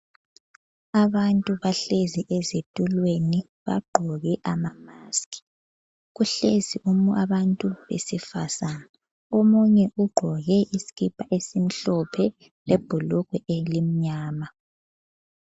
Abantu bahlezi ezitulweni bagqoke ama maski. Kuhlezi abantu besifazana. Omunye ugqoke iskipa esimhlophe le bhulugwe elimnyama.